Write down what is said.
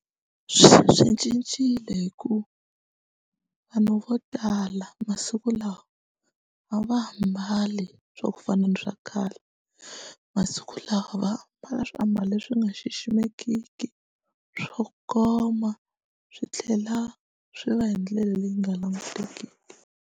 Swi cincile hikuva vanhu vo tala masiku lawa a va ha mbali swa ku fana na swa khale masiku lawa va mbala swiambalo leswi nga xiximekiki swo koma swi tlhela swi va hi ndlela leyi nga langutekiki.